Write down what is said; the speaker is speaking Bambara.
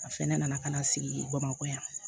A fɛnɛ nana ka na sigi bamakɔ yan